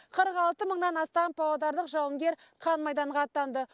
қырық алты мыңнан астам павлодарлық жауынгер қан майданға аттанды